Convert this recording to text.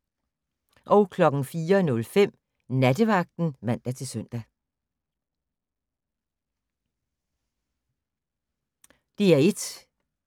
DR1